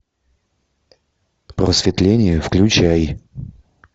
просветление включай